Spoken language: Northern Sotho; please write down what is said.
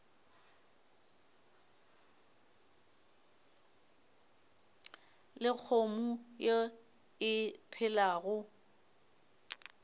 le kgomo ye e phelago